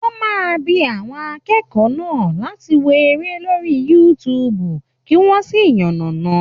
Wọ́n máa bi àwọn akẹ́kọ̀ọ́ náà láti wo eré lórí youtube kí wọ́n sì yànàná.